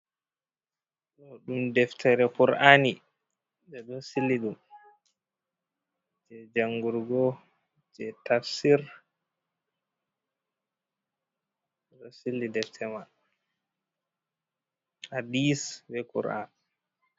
Ɗo ɗum deftere kur'ani ɓe ɗo siliɗum je jangurgo, je tafsir. ɓeɗo sili deftere man, hadisi be kur'ani.